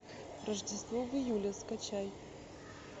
рождество в июле скачай